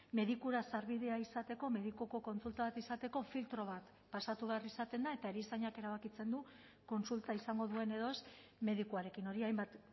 medikura sarbidea izateko medikuko kontsulta bat izateko filtro bat pasatu behar izaten da eta erizainak erabakitzen du kontsulta izango duen edo ez medikuarekin hori hainbat